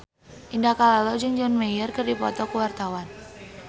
Indah Kalalo jeung John Mayer keur dipoto ku wartawan